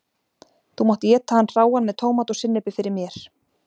þú mátt éta hann hráan með tómat og sinnepi fyrir mér.